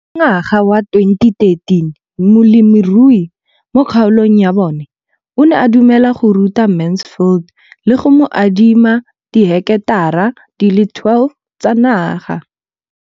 Ka ngwaga wa 2013, molemirui mo kgaolong ya bona o ne a dumela go ruta Mansfield le go mo adima di heketara di le 12 tsa naga.